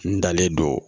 N dalen don